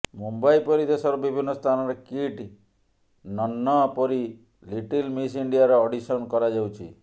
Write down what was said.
ମୁମ୍ବାଇ ପରି ଦେଶର ବିଭିନ୍ନ ସ୍ଥାନରେ କିଟ୍ ନହ୍ନନପରୀ ଲିଟିଲ ମିସ ଇଣ୍ଡିଆର ଅଡିସନ କରାଯାଉଛି